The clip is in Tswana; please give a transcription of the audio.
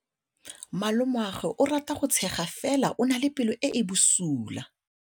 Malomagwe o rata go tshega fela o na le pelo e e bosula.